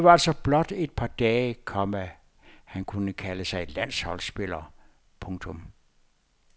Det var altså blot et par dage, komma han kunne kalde sig landsholdsspiller. punktum